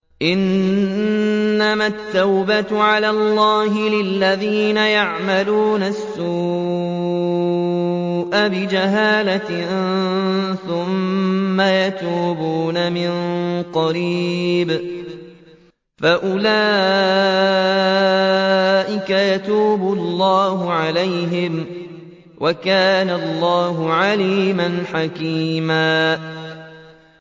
إِنَّمَا التَّوْبَةُ عَلَى اللَّهِ لِلَّذِينَ يَعْمَلُونَ السُّوءَ بِجَهَالَةٍ ثُمَّ يَتُوبُونَ مِن قَرِيبٍ فَأُولَٰئِكَ يَتُوبُ اللَّهُ عَلَيْهِمْ ۗ وَكَانَ اللَّهُ عَلِيمًا حَكِيمًا